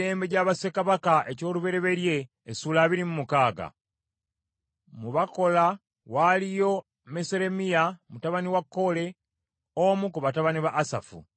Ebibinja by’Abaggazi byali: Mu Bakola, waaliyo Meseremiya mutabani wa Kole, omu ku batabani ba Asafu.